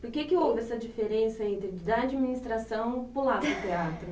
Por que que houve essa diferença entre da administração e pular para o teatro?